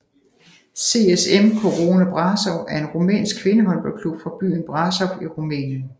CSM Corona Brașov er en rumænsk kvindehåndboldklub fra byen Brașov i Rumænien